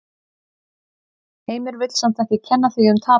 Heimir vill samt ekki kenna því um tapið.